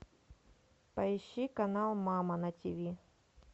поищи канал мама на тв